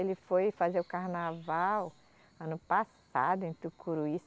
Ele foi fazer o carnaval ano passado, em Tucuruí.